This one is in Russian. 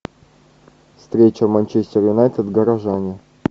встреча манчестер юнайтед горожане